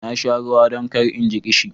Na sha ruwa don kar in ji ƙishi.